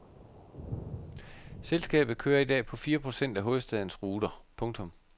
Selskabet kører i dag på fire procent af hovedstadens ruter. punktum